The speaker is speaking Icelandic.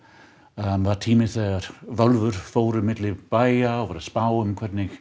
var tími þegar völvur fóru á milli bæja og voru að spá um hvernig